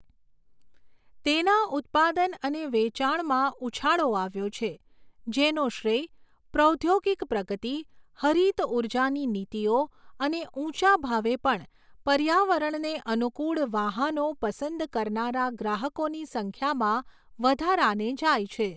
તેના ઉત્પાદન અને વેચાણમાં ઉછાળો આવ્યો છે, જેનો શ્રેય પ્રૌદ્યોગિક પ્રગતિ, હરિત ઉર્જાની નીતિઓ અને ઉંચા ભાવે પણ પર્યાવરણને અનુકૂળ વાહનો પસંદ કરનારા ગ્રાહકોની સંખ્યામાં વધારાને જાય છે.